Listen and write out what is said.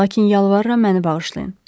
Lakin yalvarıram məni bağışlayın.